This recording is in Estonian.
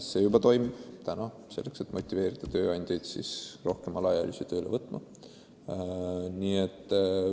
See juba toimib, motiveerides tööandjaid rohkem alaealisi tööle võtma.